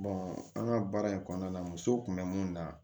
an ka baara in kɔnɔna na muso kun be mun na